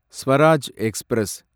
Swaraj express